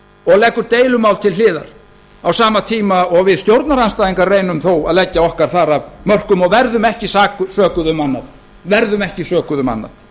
og leggur deilumál til hliðar á sama tíma og við stjórnarandstæðingar reynum þó að leggja okkar þar af mörkum og verðum ekki sökuð um annað